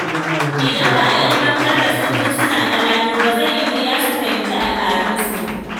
Idan ba a ilimantar da su tun suna ƙanana ba, zai yi wuya su fahimci al'adunsu.